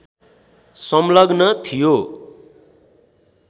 संलग्न थियो